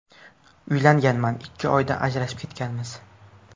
Uylanganman, ikki oyda ajrashib ketganmiz.